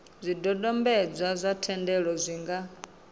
zwidodombedzwa zwa thendelo zwi nga